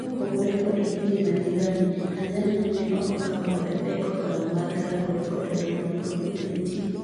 Kaopogore kod pinje majirani, Tanzania nene okokao koda pek okang' mag rakore kod twoo mar Covid-19.